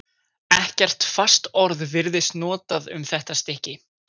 Ekkert fast orð virðist notað um þetta stykki.